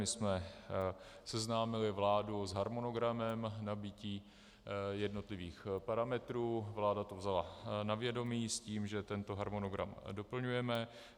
My jsme seznámili vládu s harmonogramem nabytí jednotlivých parametrů, vláda to vzala na vědomí s tím, že tento harmonogram doplňujeme.